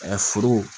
Ɛɛ foro